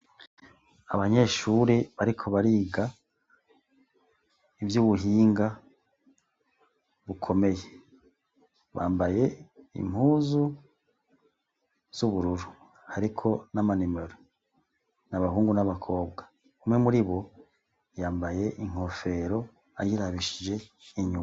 Abanyeshuri bariko bariga ivy’ubuhinga bukomeye bambaye impuzu z'ubururu, ariko n'amanimero, n'abahungu n'abakobwa, umwe muri bo yambaye inkofero ayirabishije inyuma.